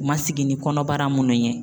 U ma sigi ni kɔnɔbara munnu ye.